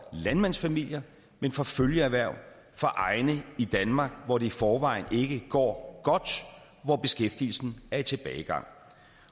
landmandsfamilier men for følgeerhverv for egne i danmark hvor det i forvejen ikke går godt og hvor beskæftigelsen er i tilbagegang